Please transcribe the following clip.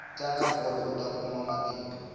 tlanga bolo uta kuma matimba